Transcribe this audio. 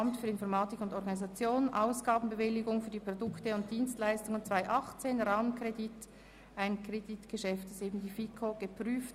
Die FiKo hat diesen Antrag über die Ausgabenbewilligung für die Produkte und Dienstleistungen 2018, einen Rahmenkredit des Amts für Informatik und Organisation geprüft.